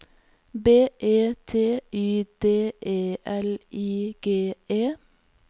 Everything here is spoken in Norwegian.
B E T Y D E L I G E